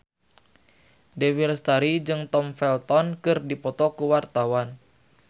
Dewi Lestari jeung Tom Felton keur dipoto ku wartawan